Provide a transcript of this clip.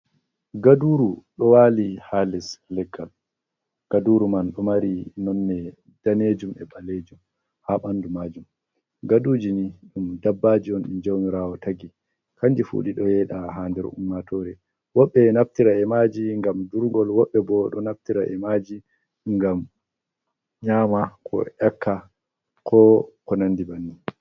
Gaduru ɗo wali ha les leggal, gaduru man ɗo mari nonne danejum e ɓalejum ha ɓandu majum. Gaduji ni ɗum dabbaji on ɗi jamirawo tagi, kanji fu ɗido yeɗa ha nder ummatore wobbe naftira e maji ngam durgol wobɓe bo ɗo naftira e maji ngam nyama ko ekonandi banni.